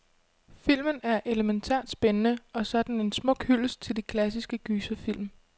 Filmen er elemæntært spændende, og så er den en smuk hyldest til de klassiske gyserfilm.